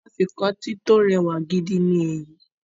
Afikọ́tí tó rẹwà gidi ni èyí